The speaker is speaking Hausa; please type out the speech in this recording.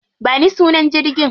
Ba ni sunan jirgin.